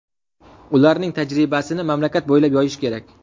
Ularning tajribasini mamlakat bo‘ylab yoyish kerak.